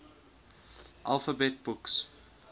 alphabet books